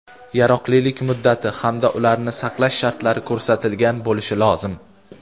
yaroqlilik muddati hamda ularni saqlash shartlari ko‘rsatilgan bo‘lishi lozim:.